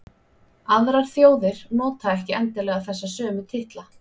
aðrar þjóðir nota ekki endilega þessa sömu titla